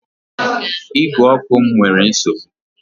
Ígwè ọkụ m nyere nsogbu